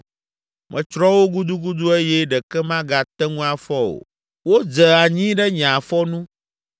Metsrɔ̃ wo gudugudu eye ɖeke magate ŋu afɔ o. Wodze anyi ɖe nye afɔ nu